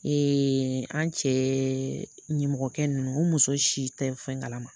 an cɛ nimɔgɔkɛ nunnu o muso si tɛ fɛn kala ma.